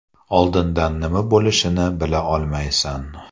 Oldindan nima bo‘lishini bila olmaysan.